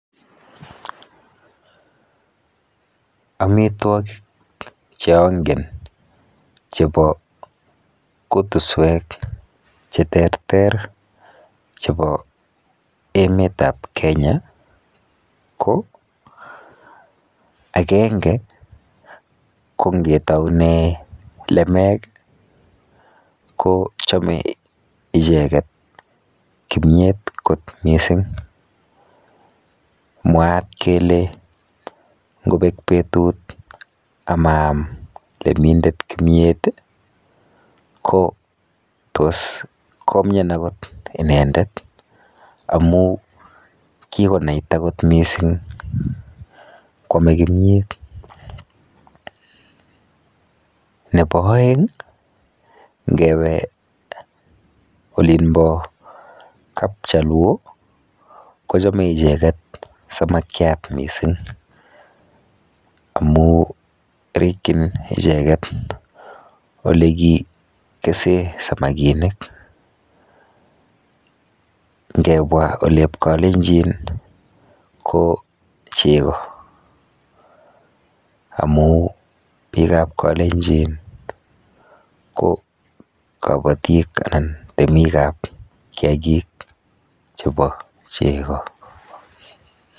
Amitwokik cheangen chepo kutuswek cheterter chepo emetap Kenya ko akenge ko ngetoune lemek kochome icheket kimyet kot mising. Mwaat kele ngopek betut amaam lemindet kimiet ko tos komien akot inendet amu kikonaita kot mising kwome kimyet. Nepo oeng, ngepe olinpo kap chaluo, kochome icheket samakiat mising amu rikchin icheket olekikese samakinik. Ngebwa olep kalenjin ko chego amu biikap kalenjin ko kabatik anan temikap kiakik chepo chego.